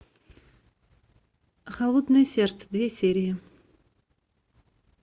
холодное сердце две серии